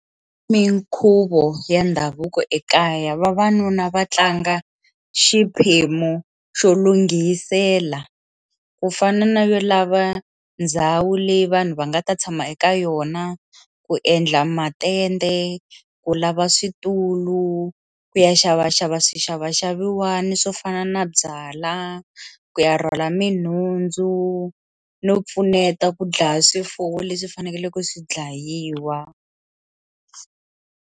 Minkhuvo ya ndhavuko ekaya vavanuna va tlanga xiphemu xo lunghisela ku fana na yo lava ndhawu leyi vanhu va nga ta tshama eka yona ku endla matende ku lava switulu ku ya xavaxava swixavaxaviwani swo fana na byala ku ya rhwala minhundzu no pfuneta ku dlaya swifuwo leswi faneleke swi dlayiwa.